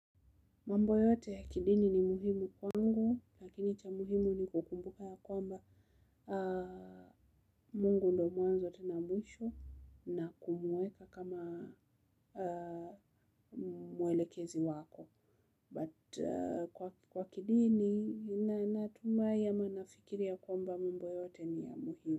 Mambo yote ya kidini ni muhimu kwa ngu, lakini cha muhimu ni kukumbuka ya kwamba Mungu ndo mwanzote na mwisho na kumuweka kama mwelekezi wako. But kwa kidini, natumai ama anafikiria kwamba mambo yote ni ya muhimu.